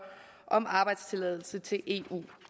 om arbejdstilladelse til eu